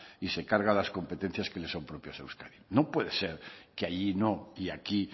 y se carga las competencias que le son propias a euskadi no puede ser que allí no y aquí